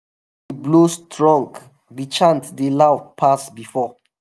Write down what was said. blow strong the chant dey loud pass before.